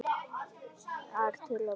ar til að borða hana.